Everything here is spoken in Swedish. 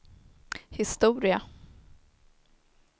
historia